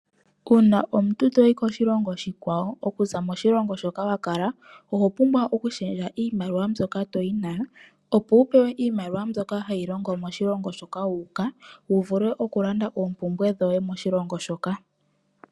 Uuna omuntu toyi koshilongo oshikwawo okuza koshilongo shoka wakala. Owapumbwa oku shendja iimaliwa mbyoka toyi nayo opo wu pewe iimaliwa mbyoka hayi longo moshilongo shoka wu uka wuvule oku landa oompumbwe dhoye moshilongo shoka.